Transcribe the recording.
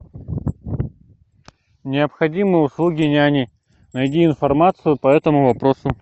необходимы услуги няни найди информацию по этому вопросу